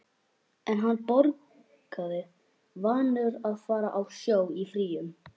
En hann borgaði, vanur að fara á sjó í fríum.